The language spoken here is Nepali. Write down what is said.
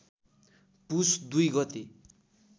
पुस २ गते